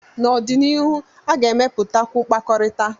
n'ọdịnihu, a ga-emepụtakwu mkpakọrịta